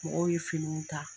Mɔgɔw ye finiw ta.